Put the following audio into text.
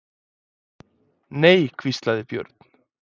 Nei, hvíslaði Björn.